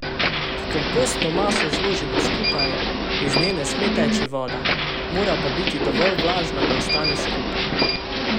Ko kompostno maso zložimo skupaj, iz nje ne sme teči voda, mora pa biti dovolj vlažna, da ostane skupaj.